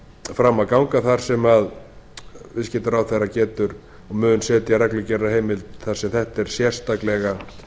fram að ganga þar sem viðskiptaráðherra getur og mun setja reglugerðarheimild þar sem þetta er sérstaklega